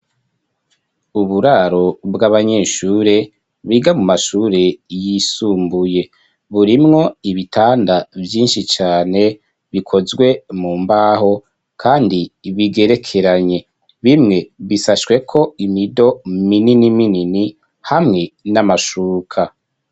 Uburaro bw'abanyeshure biga mu mashure yisumbuye burimwo ibitanda vyinshi cyane bikozwe mu mbaho kandi bigerekeranye bimwe bisashwe ko imido minini-minini hamwe n'amashuka.